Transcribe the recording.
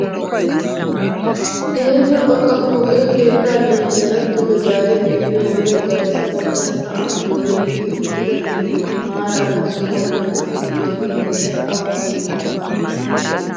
Keehippe xoqqa pooqe keettaa liiphphiyaara duge zaari xeelliyoo wode garssa bagga sa'aan doodettidi uttida mittati maarara sohuwaa loytti wottido heeray awa geetettii?